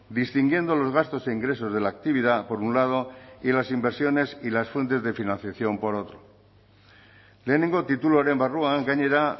distinguiendo los gastos e ingresos de la actividad por un lado y las inversiones y las fuentes de financiación por otro lehenengo tituluaren barruan gainera